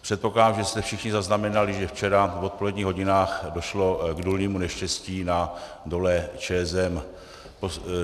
Předpokládám, že jste všichni zaznamenali, že včera v odpoledních hodinách došlo k důlnímu neštěstí na dole ČSM.